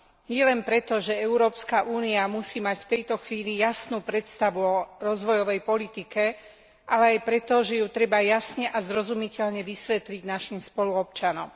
Nielen preto, že Európska únia musí mať v tejto chvíli jasnú predstavu o rozvojovej politike, ale aj preto, že ju treba jasne a zrozumiteľne vysvetliť našim spoluobčanom.